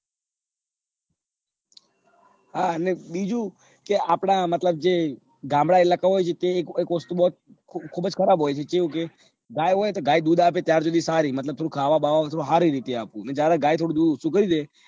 હા અને બીજું કે આપડા મતલબ જે ગામડા ઇલાકા હોય છે તેની ખુબજ ખરાબ હોય છે કેવું કે ગાય હોય કે ગાય દૂધ આપે ત્યાં સુધી સારું મતલબ થોડું ખાવા બાવા સારું આપે અને જયારે ગાય યુદ્ધ થોડું ઓછું કરી દે